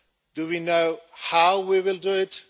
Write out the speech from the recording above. Do we know how we will do it?